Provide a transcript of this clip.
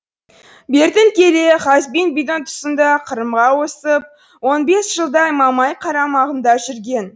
бертін келе хазбин бидің тұсында қырымға ауысып он бес жылдай мамай қарамағында жүрген